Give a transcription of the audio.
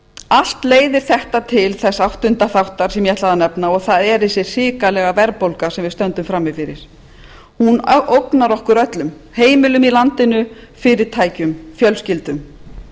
allt leiðir þetta til þess áttunda þáttar sem ég ætlaði að nefna og það er þessi hrikalega verðbólga sem við stöndum frammi fyrir hún ógnar okkur öllum heimilum í landinu fyrirtækjum fjölskyldum